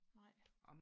nej